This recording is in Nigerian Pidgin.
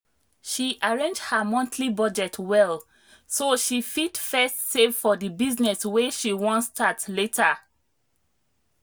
she arrange her monthly budget well so she fit first save for the business wey she wan start later.